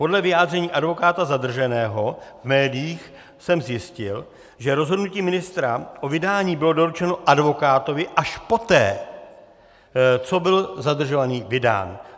Podle vyjádření advokáta zadrženého v médiích jsem zjistil, že rozhodnutí ministra o vydání bylo doručeno advokátovi až poté, co byl zadržovaný vydán.